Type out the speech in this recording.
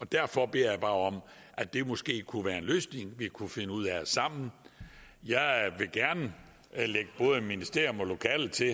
derfor beder jeg bare om at det måske kunne være en løsning vi kunne finde ud af sammen jeg vil gerne lægge både ministerium og lokaler til